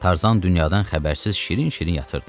Tarzan dünyadan xəbərsiz şirin-şirin yatırdı.